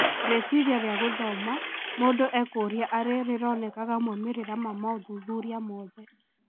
Rĩciria rĩa gũthoma mũndũ ekũrĩa arĩ rĩronekaga moimĩrĩra ma maũthuthuria mothe.